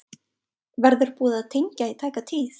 Verður búið að tengja í tæka tíð?